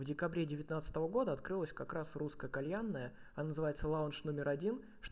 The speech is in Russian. в декабре девятнадцатого года открылось как раз русская кальянная называется лаунж номер один